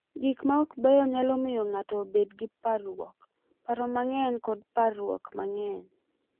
Gik ma ok beyo nyalo miyo ng’ato obed gi parruok, paro mang’eny, kod parruok mang’eny.